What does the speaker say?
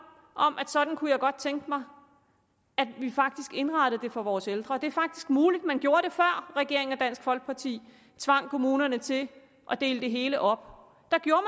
sådan kunne jeg godt tænke mig at vi indrettede det for vores ældre det er muligt at man gjorde det før regeringen og dansk folkeparti tvang kommunerne til at dele det hele op der gjorde